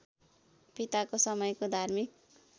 पिताको समयको धार्मिक